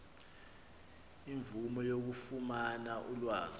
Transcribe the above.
imvume yokufumana ulwazi